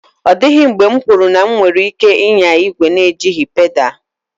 Ọ dịghị mgbe m kweere na m nwere ike ịnya igwe n'ejighị pedal.